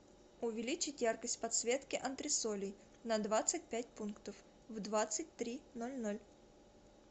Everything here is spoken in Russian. увеличить яркость подсветки антресолей на двадцать пять пунктов в двадцать три ноль ноль